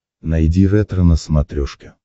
найди ретро на смотрешке